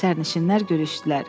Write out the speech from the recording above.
Sərnişinlər görüşdülər.